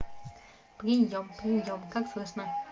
приём приём как слышно